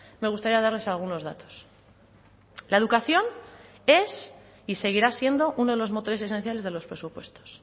me gustaría darles algunos datos la educación es y seguirá siendo uno de los motores esenciales de los presupuestos